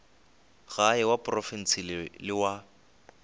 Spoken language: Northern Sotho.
gae wa profense le wa